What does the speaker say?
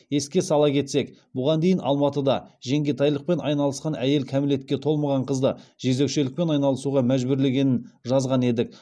еске сала кетсек бұған дейін алматыда жеңгетайлықпен айналысқан әйел кәмелетке толмаған қызды жезөкшелікпен айналысуға мәжбүрлегенін жазған едік